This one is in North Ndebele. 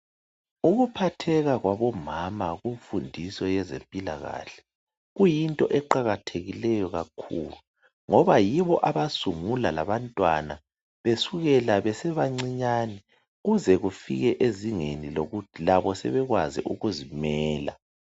Ukuphatheka kwabomama kumfundiso yezempilakahle kuyinto eqakathekileyo kakhulu ngoba yibo abasungula labantwana besukela besebancinyane kuze kufike ezingeni lokuthi labo sebekwazi ukuzimela.